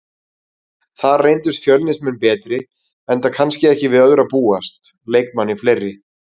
Þar reyndust Fjölnismenn betri enda kannski ekki við öðru að búast, leikmanni fleiri.